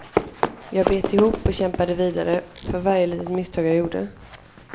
Jag bet ihop och kämpade vidare, för varje litet misstag jag gjorde.